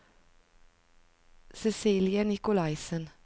Cecilie Nikolaisen